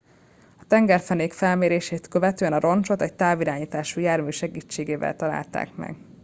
a tengerfenék felmérését követően a roncsot egy távirányítású jármű segítségével találták meg